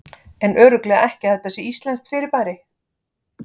En örugglega ekki að þetta sé íslenskt fyrirbæri.